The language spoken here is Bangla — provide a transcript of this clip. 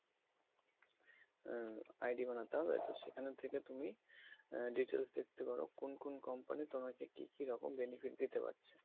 আহ ID বানাতে হবে তো সেখানের থেকে তুমি আহ details দেখতে পারো কোন কোন company তোমাকে কী কী রকম benefit দিতে পারছে।